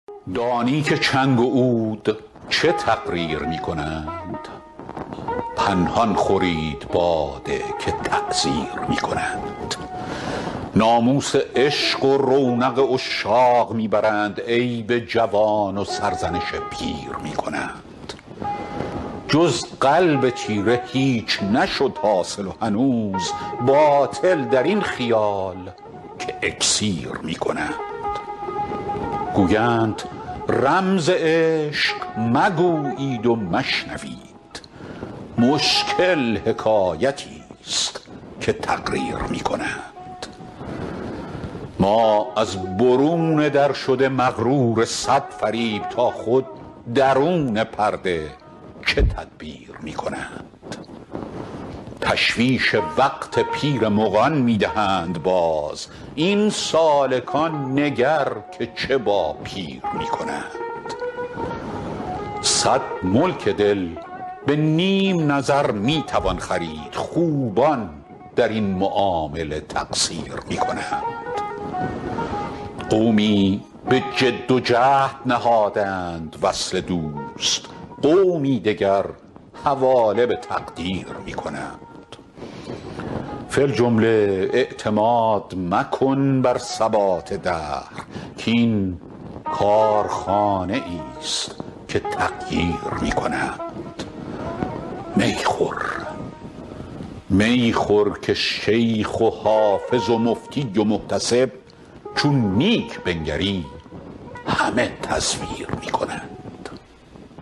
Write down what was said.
دانی که چنگ و عود چه تقریر می کنند پنهان خورید باده که تعزیر می کنند ناموس عشق و رونق عشاق می برند عیب جوان و سرزنش پیر می کنند جز قلب تیره هیچ نشد حاصل و هنوز باطل در این خیال که اکسیر می کنند گویند رمز عشق مگویید و مشنوید مشکل حکایتیست که تقریر می کنند ما از برون در شده مغرور صد فریب تا خود درون پرده چه تدبیر می کنند تشویش وقت پیر مغان می دهند باز این سالکان نگر که چه با پیر می کنند صد ملک دل به نیم نظر می توان خرید خوبان در این معامله تقصیر می کنند قومی به جد و جهد نهادند وصل دوست قومی دگر حواله به تقدیر می کنند فی الجمله اعتماد مکن بر ثبات دهر کـ این کارخانه ایست که تغییر می کنند می خور که شیخ و حافظ و مفتی و محتسب چون نیک بنگری همه تزویر می کنند